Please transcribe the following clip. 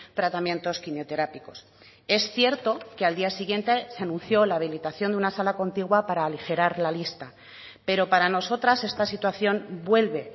tratamientos quimioterápicos es cierto que al día siguiente se anunció la habilitación de una sala contigua para aligerar la lista pero para nosotras esta situación vuelve